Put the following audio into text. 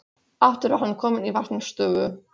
Aftur var hann kominn í varnarstöðu.